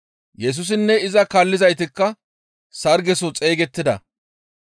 Yesusinne iza kaallizaytikka sargezaso xeygettida.